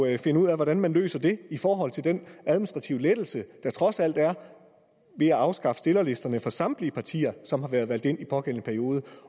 at finde ud af hvordan man løser i forhold til den administrative lettelse der trods alt er ved at afskaffe stillerlisterne for samtlige partier som har været valgt ind i pågældende periode